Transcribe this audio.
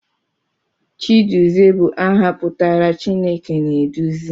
Chiduzie bụ aha pụtara 'Chineke na-eduzi'